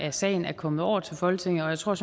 af sagen er kommet over til folketinget og jeg tror